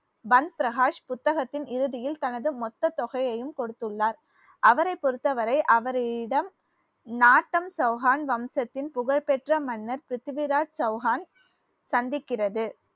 பந்த் பிரகாஷ் புத்தகத்தின் இறுதியில் தனதுமொத்த தொகையையும் கொடுத்துள்ளார் அவரை பொறுத்தவரை அவரிடம் நாட்டம் சௌஹான் வம்சத்தின் புகழ்பெற்ற மன்னர் பிரித்திவிராஜ் சௌஹான் சந்திக்கிறது